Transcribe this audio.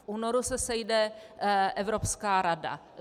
V únoru se sejde Evropská rada.